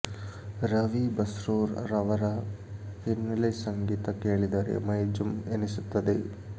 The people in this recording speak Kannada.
ರವಿ ಬಸ್ರೂರ್ ರವರ ಹಿನ್ನೆಲೆ ಸಂಗೀತ ಕೇಳಿದರೆ ಮೈ ಜುಮ್ ಎನಿಸುತ್ತದೆ